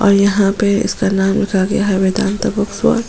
और यहाँ पे उसका नाम रखा गया है वेदांता बुक्स वर्ल्ड --